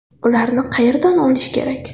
Ularni qayerdan olish kerak?